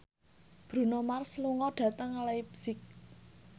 Bruno Mars lunga dhateng leipzig